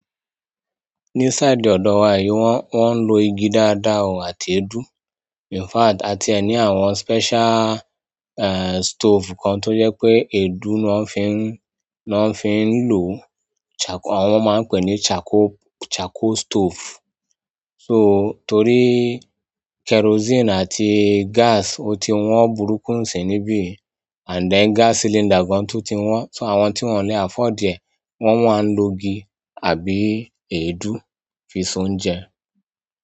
Ní side ọ̀dọ̀ wa yìí wọ́n, wọ́n ń lo igi dáadáa àti èédú. In fact, àti ẹ ní àwọn special eh stove kan tó yẹ pé èédú ni wọ́n fi ń, ni wọ́n fi ń lò o. Chaco-- àwọn máa ń pè ní chaco, chaco stove. So torí kerosene àti gas ó ti wọ́n burúkú ǹṣin níbí. And then gas cylinder gan tó ti wọ́n, so àwọn tí wọ́n lè afford ẹ wọ́n máa ń lo igi àbí èédú fi soúnjẹ.